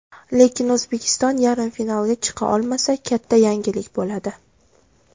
Lekin O‘zbekiston yarim finalga chiqa olmasa, katta yangilik bo‘ladi.